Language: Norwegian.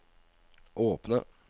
åpne